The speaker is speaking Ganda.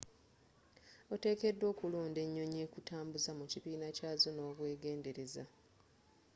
otekedwa okulonda enyonyi ekutambuza mu kibiina kyazo nobwegendereza